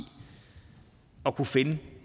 at kunne finde